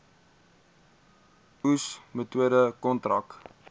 oes metode kontrak